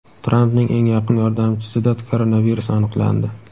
Trampning eng yaqin yordamchisida koronavirus aniqlandi.